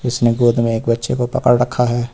जिस ने गोद में एक बच्चे को पकड़ रखा है।